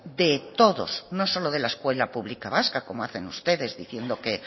de todos no solo de la escuela pública vasca como hacen ustedes diciendo que